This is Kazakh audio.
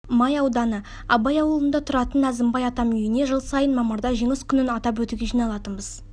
май ауданы абай ауылында тұратын әзімбай атам үйіне жыл сайын мамырда жеңіс күнін атап өтуге жиналатынбыз